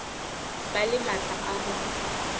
ba le matla a ho